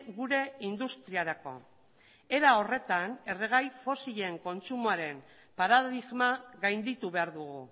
gure industriarako era horretan erregai fosilen kontsumoaren paradigma gainditu behar dugu